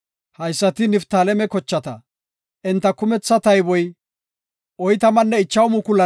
Haysati Niftaaleme kochata; enta kumetha tayboy 45,400.